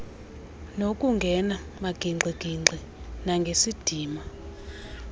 ngokungena magingxigingxi nangesidima